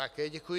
Také děkuji.